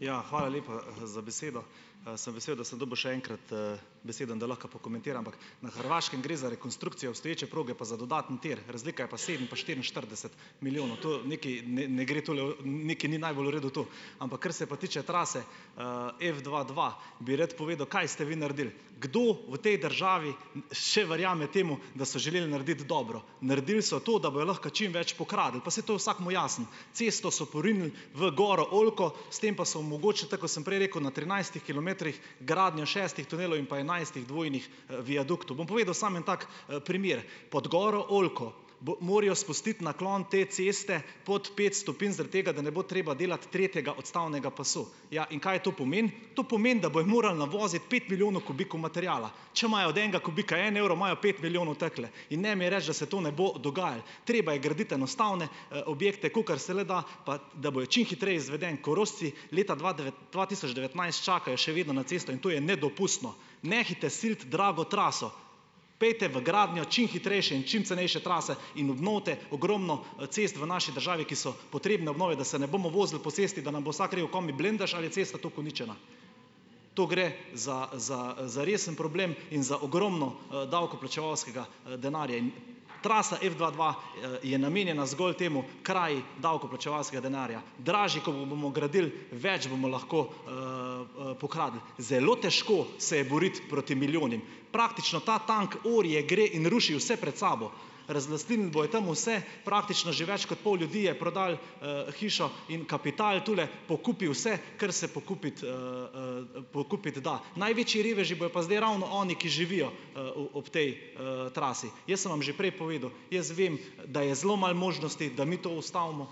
Ja. Hvala lepa, za besedo. Sem vesel, da sem dobil še enkrat, besedo, da lahko pokomentiram Na Hrvaškem gre za rekonstrukcijo obstoječe proge, pa za dodatni tir. Razlika je pa sedem pa štiriinštirideset milijonov. To nekaj ne gre, tole, nekaj ni najbolj v redu to. Ampak kar se pa tiče trase, F dva dva, bi rad povedal, kaj ste vi naredil. Kdo v tej državi še verjame temu, da so želeli narediti dobro. Naredili so to, da bojo lahko čim več pokradli. Pa saj to je vsakemu jasno. Cesto so porinili v goro Oljko, s tem pa so omogočili, tako kot sem prej rekel, na trinajstih kilometrih gradnjo šestih tunelov in pa enajstih dvojnih, viaduktov. Bom povedal samo en tak primer. Pod goro Oljko bo morajo spustiti naklon te ceste pod pet stopinj zaradi tega, da ne bo treba delati tretjega odstavnega pasu. Ja. In kaj to pomeni? To pomeni, da bojo morali navoziti pet milijonov kubikov materiala. Če imajo od enega kubika en evro, imajo pet milijonov takole. In ne mi reči, da se to ne bo dogajalo. Treba je gradi enostavne, objekte, kolikor se le da, pa da bojo čim hitreje izveden. Korošci leta dva dva tisoč devetnajst čakajo še vedno na cesto in to je nedopustno. Nehajte siliti drago traso. Pojdite v gradnjo čim hitrejše in čim cenejše trase in obnovite ogromno, cest v naši državi, ki so potrebne obnove, da se ne bomo vozili po cesti, da nam bo vsak rekel: "Kaj mi blendaš ali je cesta tako uničena?" To gre za za, za resen problem in za ogromno, davkoplačevalskega, denarja in. Trasa F dva dva, je namenjena zgolj temu, kraji davkoplačevalskega denarja. Dražje, ko bomo gradili, več bomo lahko, pokradli. Zelo težko se je boriti proti milijonom. Praktično ta tank orje, gre in ruši vse pred sabo. razlastninili bojo tam vse, praktično že več kot pol ljudi je prodalo, hišo in kapital. Tule pokupi vse, kar se pokupiti, pokupiti da. Največji reveži bojo pa zdaj ravno oni, ki živijo, ob tej, trasi. Jaz sem vam že prej povedal, jaz vem, da je zelo malo možnosti, da mi to ustavimo,